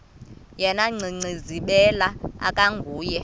yena gcinizibele akanguye